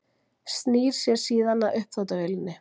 Snýr sér síðan að uppþvottavélinni.